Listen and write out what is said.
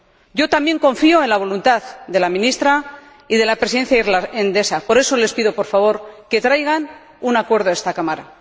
Yo también confío en la voluntad de la Ministra y de la Presidencia irlandesa, por eso les pido por favor que traigan un acuerdo a esta Cámara.